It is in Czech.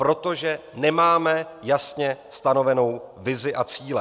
Protože nemáme jasně stanovenou vizi a cíle.